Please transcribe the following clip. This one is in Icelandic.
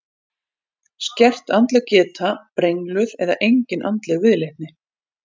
Skert andleg geta, brengluð eða engin andleg viðleitni.